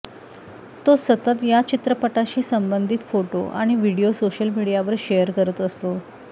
तो सतत या चित्रपटाशी संबंधित फोटो आणि व्हिडिओ सोशल मीडियावर शेअर करत असतो